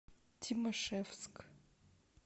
тимашевск